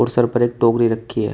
Sir पर एक टोकरी रखी है।